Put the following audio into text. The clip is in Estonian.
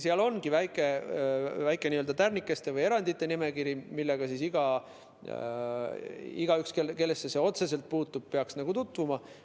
Seal on väike n‑ö tärnikeste või erandite nimekiri, millega igaüks, kellesse see otseselt puutub, peaks tutvuma.